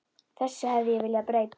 Þessu hefði ég viljað breyta.